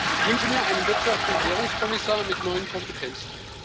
Ich wünsche mir einen Wirtschafts und Währungskommissar mit neuen Kompetenzen.